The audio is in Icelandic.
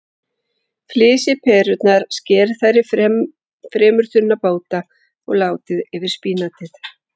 Flysjið perurnar, skerið þær í fremur þunna báta og látið yfir spínatið.